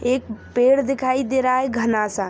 एक पेड़ दिखाई दे रहा है घना सा।